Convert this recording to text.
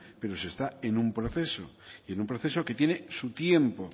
pero se está en un proceso y en un proceso que tiene su tiempo